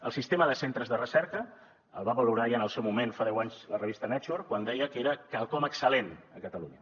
el sistema de centres de recerca el va valorar ja en el seu moment fa deu anys la revista nature quan deia que era quelcom excel·lent a catalunya